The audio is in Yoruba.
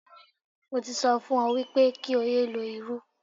Mo ti sọ fún ọ wípé kí o yé lo irú.